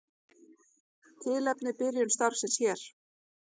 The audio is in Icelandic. Tilefni byrjun starfsins hér.